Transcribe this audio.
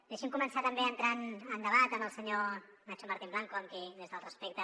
deixi’m començar també a entrar en debat amb el senyor nacho martín blanco amb qui des del respecte